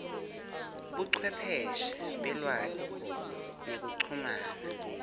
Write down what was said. buchwepheshe belwati nekuchumana